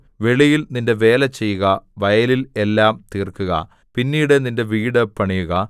വെളിയിൽ നിന്റെ വേല ചെയ്യുക വയലിൽ എല്ലാം തീർക്കുക പിന്നീട് നിന്റെ വീട് പണിയുക